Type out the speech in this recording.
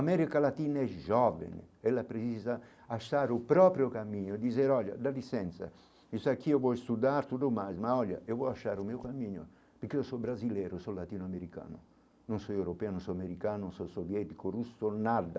América Latina é jovem, ela precisa achar o próprio caminho, dizer, olha, dá licença, isso aqui eu vou estudar tudo mais, mas olha, eu vou achar o meu caminho, porque eu sou brasileiro, sou latino-americano, não sou europeu, não sou americano, não sou soviético, russo, nada.